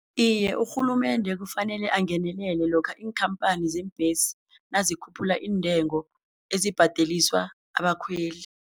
Iye, urhulumende kufanele angenelele lokha iinkhamphani zeembhesi nazikhuphula iintengo ezibhadeliswa abakhweli.